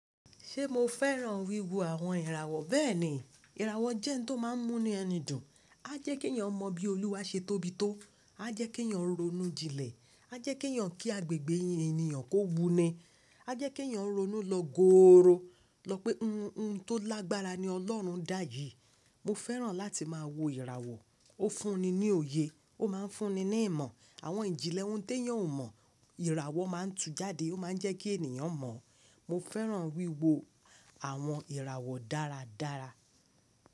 Ṣé mo fẹ́ràn wíwo àwọn ìràwọ̀? Bẹ́ẹ̀ni. Ìràwọ̀ jẹ́ ohun tó máa ń múni ẹni dùn, á jẹ́ kí ènìyàn mọ bí Olúwa ṣe tóbi tó, á jẹ́ kí ènìyàn ronú jinlẹ̀, á jẹ́ kí ènìyàn kí agbègbè ènìyàn kó wuni, á jẹ́ kí ènìyàn ronú lọ gòòró lọ pé ohun tó lágbára ni Ọlọ́run dá yìí. Mo fẹ́ràn láti máa wo ìràwọ̀. Ó fún ni ní òye, ó máa ń fún ni ní ìmọ̀. Àwọn ìjìnlẹ̀ ohun tí ènìyàn ò mọ̀, ìràwọ̀ máa ń tú jáde, ó máa ń jẹ́ kí ènìyàn mọ̀. Mo fẹ́ràn wíwo àwọn ìràwọ̀ dáradára.